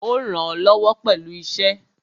Ó rànán lọ́wọ́ pẹ̀lú iṣẹ́ ẹ̀.